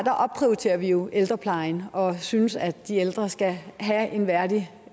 opprioriterer vi jo ældreplejen og synes at de ældre skal have en værdig